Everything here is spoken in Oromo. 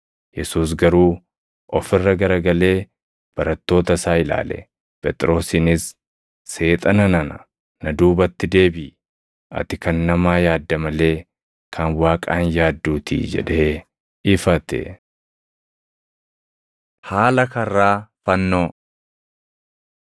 Yesuus garuu of irra garagalee barattoota isaa ilaale; Phexrosiinis, “Seexana nana! Na duubatti deebiʼi! Ati kan namaa yaadda malee kan Waaqaa hin yaadduutii” jedhee ifate. Haala Karraa Fannoo